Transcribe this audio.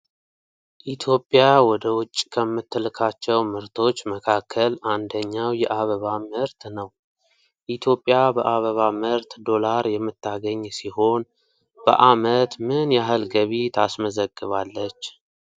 ኢትዮጵያ ወደ ውጭ ከምትልካቸው ምርቶች መካከል አንደኛው የአበባ ምርት ነው። ኢትዮጵያ በአበባ ምርት ዶላር የምታገኝ ሲሆን በዓመት ምን ያህል ገቢ ታስመዘግባለች?